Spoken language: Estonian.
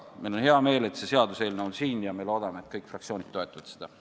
Meil on hea meel, et see seaduseelnõu on siin, ja me loodame, et kõik fraktsioonid toetavad seda.